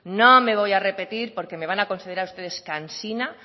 no me voy a repetir porque me van a considerar ustedes cansina